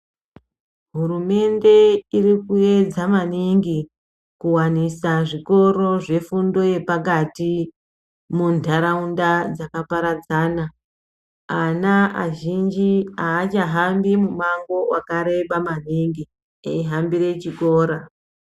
Hurumende iri kuedza maningi kuwanisa zvikoro zvefundo yepakati muntaraunda dzakaparadzana. Ana azhinji haachahambi mumango wakareba maningi eihambire chikora.